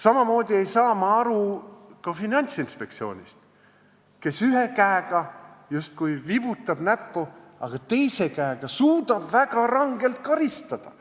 Samamoodi ei saa ma aru Finantsinspektsioonist, kes justkui ühe käega viibutab näppu, aga samal ajal suudab teise käega väga rangelt karistada.